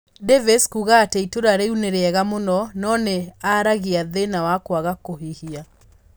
Davies kuuga ati itura riu ni riega muno no ni aragia thina wa kuaga kuhihia